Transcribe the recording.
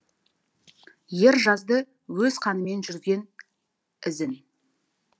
ер жазды өз қанымен жүрген ізін